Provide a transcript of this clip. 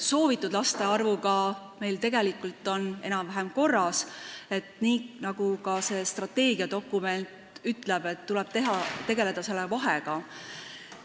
Soovitud laste arvuga on meil asjad tegelikult enam-vähem korras ning nii nagu ka see strateegiadokument ütleb, tuleb tegeleda selle vahega.